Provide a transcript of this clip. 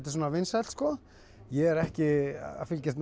svona vinsælt sko ég er ekki að fylgjast með